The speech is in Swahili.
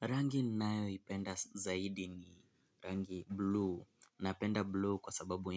Rangi nayoipenda zaidi ni rangi blue. Napenda blue kwa sababu